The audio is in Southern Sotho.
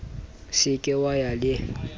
se ke wa ya le